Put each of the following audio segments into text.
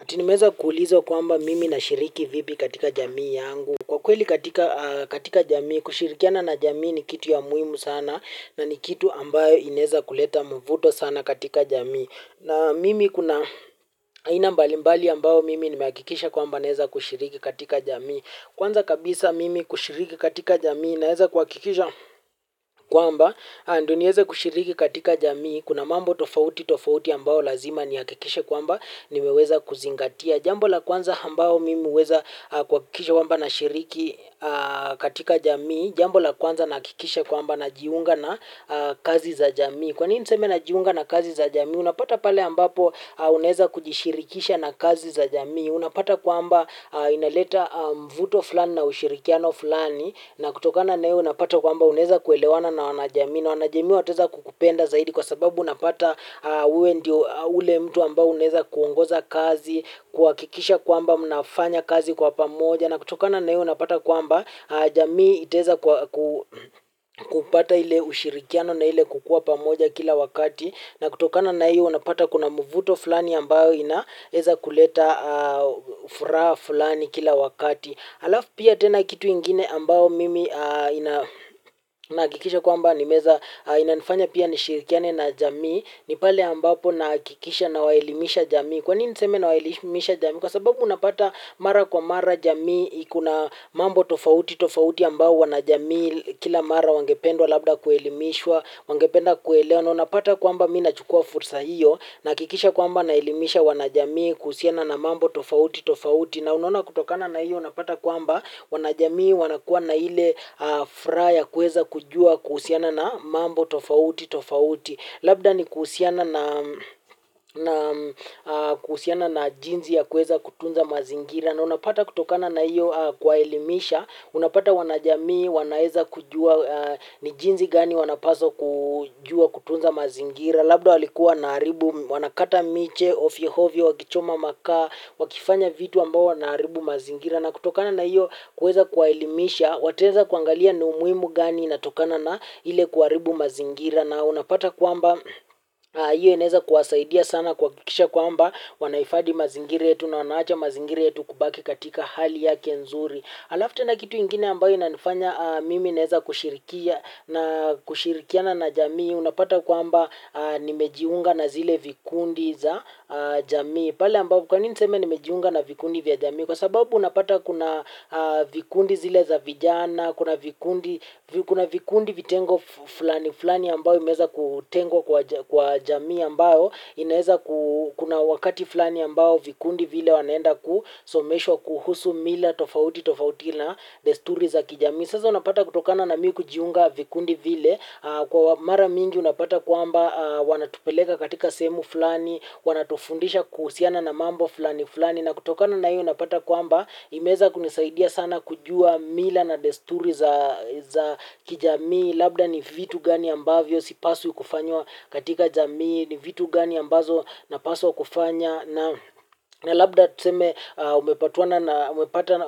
Ati nimeza kuulizwa kwamba mimi nashiriki vipi katika jamii yangu. Kwa kweli katika a katika jamii, kushirikiana na jamii ni kitu ya muimu sana na ni kitu ambayo ineza kuleta mvuto sana katika jamii. Na mimi kuna aina mbali mbali ambayo mimi nimeakikisha kwamba naeza kushiriki katika jamii. Kwanza kabisa mimi kushiriki katika jamii naeza kuakikizha, kwamba andu nieze kushiriki katika jamii. Kuna mambo tofauti tofauti ambao lazima niakikishe kwamba nimeweza kuzingatia. Jambo la kwanza hambao mimi uweza a kwakikishe kwamba nashiriki a katika jamii jambo la kwanza nahakikisha kwamba najiunga na kazi za jamii. Kwa nini niseme najiunga na kazi za jamii, unapata pale ambapo unaweza kujishirikisha na kazi za jamii, unapata kwamba inaleta mvuto fulani na ushirikiano fulani. Na kutokana na hiyo unapata kwamba unaweza kuelewana na wanaajamii na wanajamii wataweza kukupenda zaidi kwa sababu unapata wewe ndiyo yule mtu ambao unaweza kuongoza kazi, kuhakikisha kwamba mnafanya kazi kwa pamoja, na kutokana na iyo unapata kwamba jamii itaweza kupata ile ushirikiano na ile kukua pamoja kila wakati, na kutokana na hiyo unapata kuna mvuto fulani ambao inaweza kuleta furaha fulani kila wakati. Alafu pia tena kitu ingine ambao mimi nahakikisha kwamba nimeweza, inanifanya pia nishirikiane na jamii. Ni pale ambapo nahakikisha nawaelimisha jamii. Kwa nini niseme nawaelimisha jamii? Kwa sababu unapata mara kwa mara jamii kuna mambo tofauti tofauti ambao wanajamii kila mara wangependwa labda kuelimishwa, wangependa kuelewa. Na unapata kwamba mi nachukua fursa hiyo, nahakikisha kwamba naelimisha wanajamii kuhusiana na mambo tofauti tofauti. Na unaona kutokana na hiyo unapata kwamba wanajamii wanakuwa na ile furaha ya kuweza kujua kuhusiana na mambo tofauti tofauti. Labda ni kusiana na jinsi ya kuweza kutunza mazingira. Na unapata kutokana na hiyo kuwaelimisha, unapata wanajamii wanaeza kujua ni jinsi gani wanapaswa kujua kutunza mazingira. Labda walikuwa wanaharibu, wanakata miche ovyo ovyo wakichoma makaa, wakifanya vitu ambao wanaharibu mazingira. Na kutokana na hiyo kuweza kuwaelimisha, wataweza kuangalia ni umuimu gani inatokana na ile kuharibu mazingira. Na unapata kwamba hiyo inaweza kuwasaidia sana kuhakikisha kwamba, wanahifadhi mazingira yetu na wanaacha mazingira yetu kubaki katika hali yake nzuri. Alafu tena kitu ingine ambayo inanifanya mimi naweza kushirikiana na jamii unapata kwamba nimejiunga na zile vikundi za jamii. Kwa nini niseme nimejiunga na vikundi vya jamii? Kwa sababu unapata kuna vikundi zile za vijana, kuna vikundi kuna vikundi vitengo fulani fulani ambayo imeweza kutengwa kwa jamii ambayo inaweza kuna wakati fulani ambao vikundi vile wanaenda kusomeshwa kuhusu mila tofauti tofauti na desturi za kijamii. Sasa unapata kutokana na mimi kujiunga vikundi vile, kwa mara mingi unapata kwamba wanatupeleka katika sehemu fulani, wanatufundisha kuhusiana na mambo fulani fulani na kutokana na hiyo unapata kwamba imeweza kunisaidia sana kujua mila na desturi za kijamii labda ni vitu gani ambavyo sipaswi kufanya katika jamii, ni vitu gani ambazo napaswa kufanya na labda tuseme umepatana na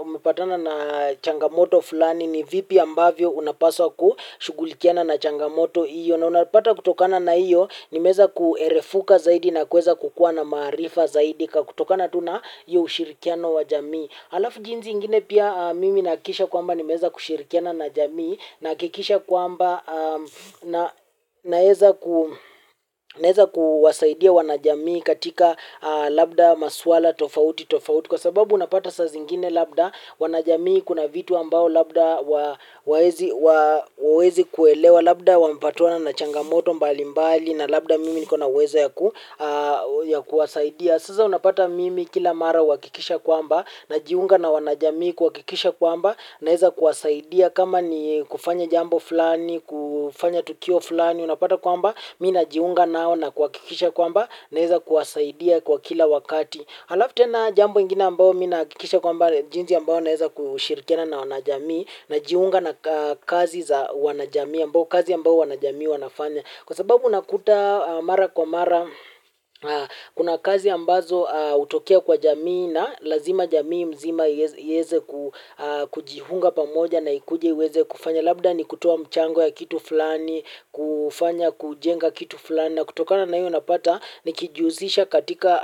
umepatana na changamoto fulani, ni vipi ambavyo unapaswa kushughulikiana na changamoto hiyo. Na unapata kutokana na hiyo, nimeweza kuerefuka zaidi na kuweza kukuwa na maarifa zaidi kwa kutokana tu na hiyo ushirikiano wa jamii. Alafu jinsi ingine pia mimi nahakikisha kwamba nimeweza kushirikiana na jamii nahakikisha kwamba naweza naweza kuwasaidia wanajamii katika labda maswala tofauti tofauti kwa sababu unapata sa zingine labda, wanajamii kuna vitu ambao labda hawawezi kuelewa, labda wamepatana na changamoto mbalimbali na labda mimi niko na uwezo ya kuwasaidia. Sasaa unapata mimi kila mara uhakikisha kwamba najiunga na wanajamii kuhakikisha kwamba naweza kuwasaidia kama ni kufanya jambo fulani, kufanya tukio fulani unapata kwamba, mi najiunga nao na kuhakikisha kwamba naweza kuwasaidia kwa kila wakati halafu tena jambo ingina ambao mi nahakikisha kwamba jinsi ambao naweza kushirikiana na wanajamii, najiunga na kazi za wanajamii ambao kazi ambao wanajamii wanafanya. Kwa sababu unakuta mara kwa mara kuna kazi ambazo hutokea kwa jamii na lazima jamii mzima iweze kujiunga pamoja na ikuje iweze kufanya. Labda ni kutoa mchango ya kitu fulani, kufanya kujenga kitu fulani. Na kutokana na hiyo unapata nikijihusisha katika.